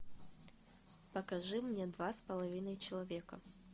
покажи мне два с половиной человека